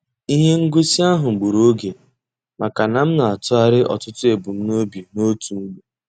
Ihe ngosi ahụ gburu oge maka na m na-atụgharị ọtụtụ ebumnobi n'otu mgbe.